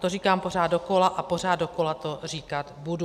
To říkám pořád dokola a pořád dokola to říkat budu.